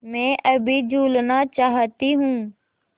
मैं अभी झूलना चाहती हूँ